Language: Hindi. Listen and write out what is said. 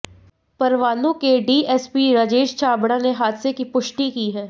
परवाणू के डीएसपी राजेश छाबड़ा ने हादसे की पुष्टि की है